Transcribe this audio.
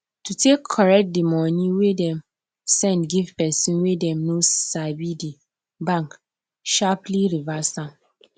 to take correct the money wey dem send give pesin wey dem no sabithe bank sharpaly reverse am